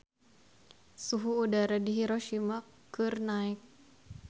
Suhu udara di Hiroshima keur naek